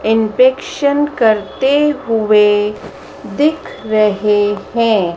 इनपेक्शन करते हुए दिख रहे हैं।